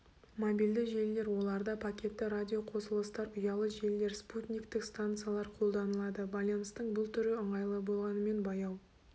мобильді желілер оларда пакетті радиоқосылыстар ұялы желілер спутниктік станциялар қолданылады байланыстың бұл түрі ыңғайлы болғанымен баяу